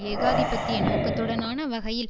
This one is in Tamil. ஏகாதிபத்திய நோக்கத்துடனான வகையில்